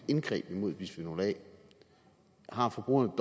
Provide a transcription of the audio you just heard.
indgreb mod bisfenol a har forbrugerne